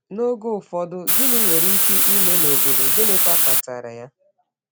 N’oge ụfọdụ, gịnị nwere ike ime n’obodo, gịnịkwa kpatara ya?